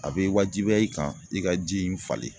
A bɛ wajibiya i kan i ka ji in falen